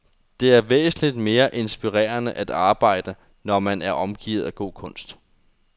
Det er væsentligt mere inspirerende at arbejde, når man er omgivet af god kunst.